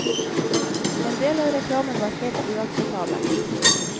En del av reklamen var helt uakseptabel.